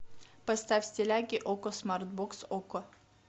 поставь стиляги окко смарт бокс окко